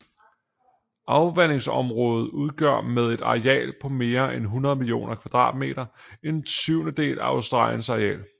Afvandingsområdet udgør med et areal på mere end 1 million km² en syvendedel af Australiens areal